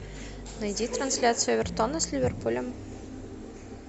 найди трансляцию эвертона с ливерпулем